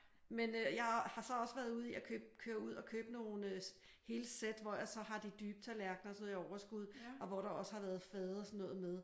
Men øh jeg har så også været ude i at købe køre ud og købe hele sæt hvor jeg så har de dybe tallerkener og sådan noget i overskud og hvor der også har været fade og sådan noget med